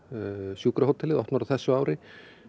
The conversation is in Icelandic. sjúkrahótelið verður opnað á þessu ári